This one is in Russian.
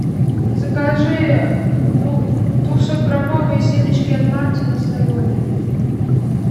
закажи двухсотграммовые семечки от мартина соленые